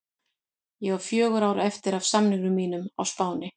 Ég á fjögur ár eftir af samningi mínum á Spáni.